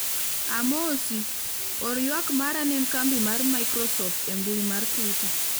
amosi, or ywak mara ne kambi mar microsoft e mbui mar twita